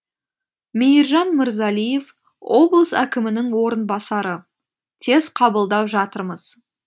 мейіржан мырзалиев облыс әкімінің орынбасары тез қабылдап жатырмыз